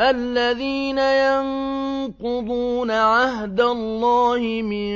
الَّذِينَ يَنقُضُونَ عَهْدَ اللَّهِ مِن